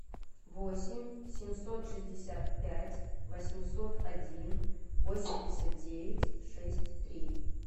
восемь семьсот шестьдесят пять восемьсот один восемьдесят девять шесть три